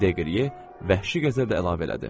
Deqriye vəhşi qəzəblə əlavə elədi.